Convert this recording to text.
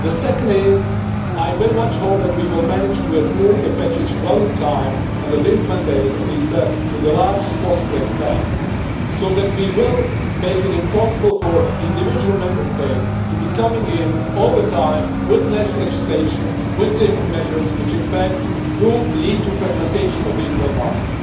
The second is that I very much hope we will manage to approve the package well in time, under this mandate, at least to the largest possible extent, so that we will make it impossible for individual Member States to be coming in all the time with national legislation, with different measures, which in fact do lead to fragmentation of the internal market.